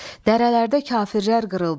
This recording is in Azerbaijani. Dərələrdə kafirlər qırıldılar.